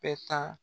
Bɛɛ ta